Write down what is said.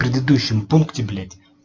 предыдущем пункте блять